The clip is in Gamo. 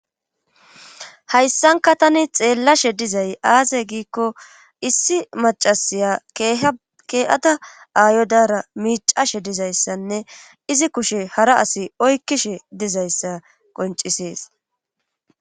hayssanka tani xeellashe dizay aase giikko issi macasiya kee7ata aayodara miicashe dizayssanne izi kushe hara asi oykkishe dizayssa qoncisees